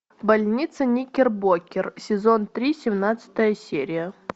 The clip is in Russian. больница никербокер сезон три семнадцатая серия